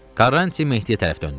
Quaranti Mehdiyə tərəf döndü.